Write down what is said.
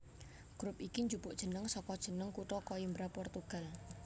Grup iki njupuk jeneng saka jeneng kutha Coimbra Portugal